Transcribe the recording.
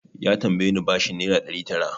Ya tambaye ni bashin naira ɗari tara.